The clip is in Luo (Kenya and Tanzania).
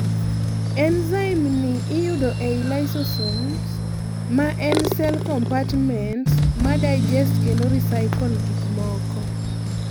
Enzyme ni iyudo ei lysosomes, maen cell compartments ma digest kendo recycle gikmoko